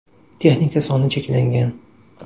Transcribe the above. Texnika soni cheklangan .